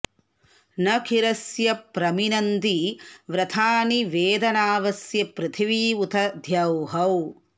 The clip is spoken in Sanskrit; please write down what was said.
नकिरस्य प्र मिनन्ति व्रतानि वेद नावस्य पृथिवी उत द्यौः